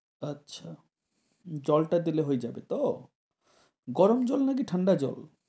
আচ্ছা জলটা দিলে হয়ে যাবেতো। গরম জল নাকি ঠান্ডা জল?